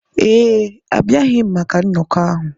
Ee, abịaghị m maka nnọkọ ahụ.